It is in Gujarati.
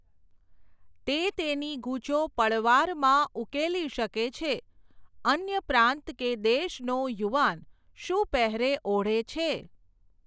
તે તેની ગૂંચો પળવારમાં ઉકેલી શકે છે, અન્ય પ્રાંત કે દેશનો યુવાન શું પહેરે ઓઢે છે.